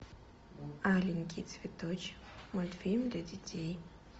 аленький цветочек мультфильм для детей